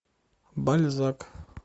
бальзак